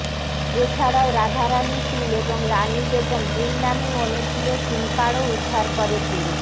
এছাড়াও রাধারানী শীল এবং রানী বেগম দুই নামেই অনেকগুলো সিমকার্ডও উদ্ধার করে পুলিশ